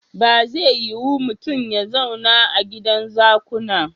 Ba zai yiu mutun ya zauna a gidan zakuna.